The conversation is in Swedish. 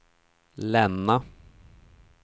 Länna